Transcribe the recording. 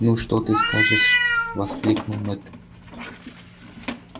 ну что ты скажешь воскликнул мэтт